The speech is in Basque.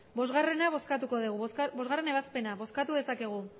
bostgarrena bozkatuko dugu bostgarrena ebazpena bozkatu dezakegu